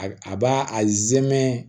A a b'a a zɛmɛ